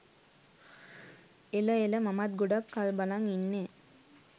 එල එල මමත් ගොඩක් කල් බලන් ඉන්නෙ